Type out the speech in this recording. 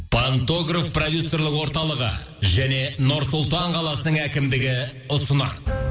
пантогрф продюсерлік орталығы және нұр сұлтан қаласының әкімдігі ұсынады